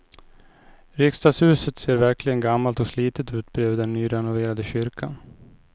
Riksdagshuset ser verkligen gammalt och slitet ut bredvid den nyrenoverade kyrkan.